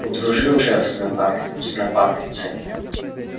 удружил шеф с напарником с напарницей